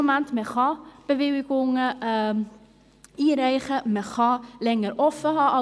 Man kann Bewilligungen einreichen, und man kann länger offenhalten.